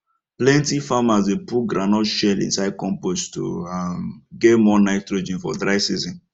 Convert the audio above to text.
plenty farmers dey put groundnut shell inside compost to um get more nitrogen for dry season